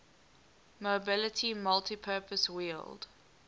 mobility multipurpose wheeled